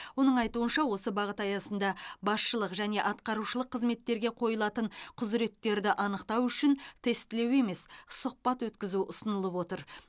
оның айтуынша осы бағыт аясында басшылық және атқарушылық қызметтерге қойылатын құзыреттерді анықтау үшін тестілеу емес сұхбат өткізу ұсынылып отыр